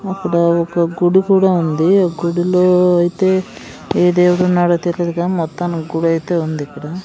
అక్కడ ఒక గుడి కూడా ఉంది ఒక్ గుడిలో ఐతే ఏ దేవుడున్నాడో తెలీదు కానీ మొత్తానికి గుడైతే ఉందిక్కడ.